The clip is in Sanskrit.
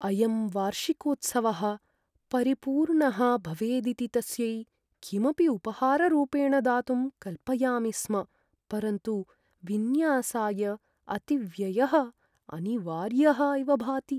अयं वार्षिकोत्सवः परिपूर्णः भवेदिति तस्यै किमपि उपहाररूपेण दातुं कल्पयामि स्म। परन्तु विन्यासाय अतिव्ययः अनिवार्यः इव भाति।